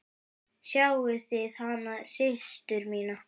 Sáuð þið hana systur mína.